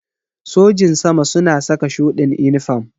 Sojin sama suna saka shuɗin inifam